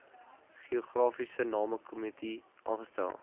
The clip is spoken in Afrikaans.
geografiese namekomitee aangestel